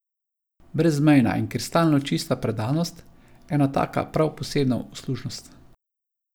Brezmejna in kristalno čista predanost, ena taka prav posebna uslužnost.